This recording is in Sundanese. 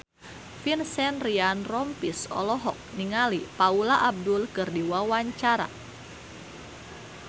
Vincent Ryan Rompies olohok ningali Paula Abdul keur diwawancara